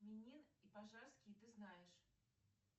минин и пожарский ты знаешь